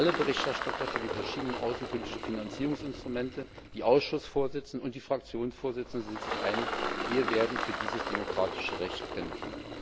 Alle Berichterstatter für die verschiedenen außenpolitischen Finanzierungsinstrumente, die Ausschussvorsitzenden und die Fraktionsvorsitzenden sind sich einig Wir werden für dieses demokratische Recht kämpfen!